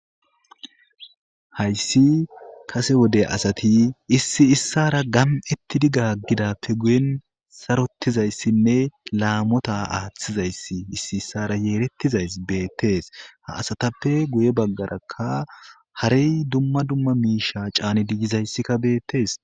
hayssi kase wode asati issi issara gam7ettidi gaggidappe guyen sarotizayssinne laamota aaththizayssi issi issara yeerettizays beettees ha asatappe guye baggarakka harey dumma dumma miisha caanidigizayssikka beettees